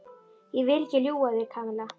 Ég vil ekki ljúga að þér, Kamilla.